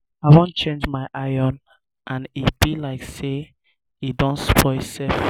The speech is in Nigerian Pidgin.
i wan change my iron and e be like say e don spoil sef